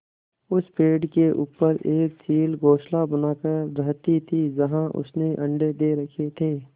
उस पेड़ के ऊपर एक चील घोंसला बनाकर रहती थी जहाँ उसने अंडे दे रखे थे